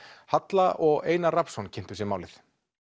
halla og Einar Rafnsson kynntu sér málið